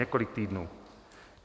Několik týdnů!